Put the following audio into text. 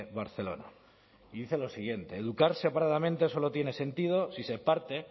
barcelona y dice lo siguiente educar separadamente solo tiene sentido si se parte